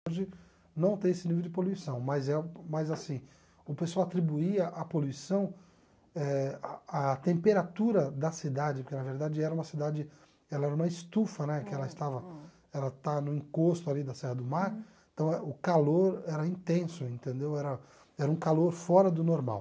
Hoje não tem esse nível de poluição, mas é mas assim, o pessoal atribuía a poluição à eh a a temperatura da cidade, porque na verdade era uma cidade ela era uma estufa né, que ela estava no encosto da Serra do Mar, então o calor era intenso, entendeu era era um calor fora do normal.